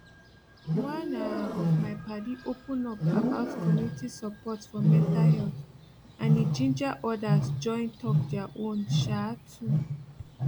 one um of my padi open up about community support for mental health and e ginger others join talk their own um too